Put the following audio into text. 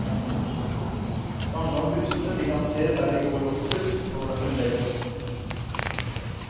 Mange av de husene de kan se der de går oppover, står der fremdeles.